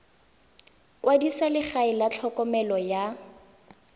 kwadisa legae la tlhokomelo ya